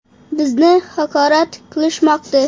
Bizni haqorat qilishmoqda.